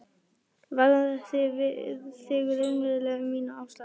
Varðar þig raunverulega um mínar ástæður?